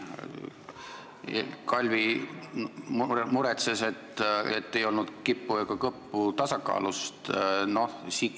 Kalvi muretses, et tasakaalust ei olnud kippu ega kõppu.